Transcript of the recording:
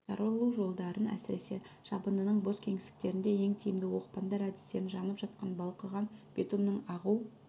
таралу жолдарын әсіресе жабындының бос кеңістіктерінде ең тиімді оқпандар әдістерін жанып жатқан балқыған битумның ағу